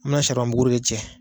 mɛ na buguri